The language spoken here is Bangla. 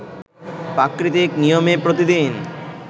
প্রাকৃতিক নিয়মে প্রতিদিন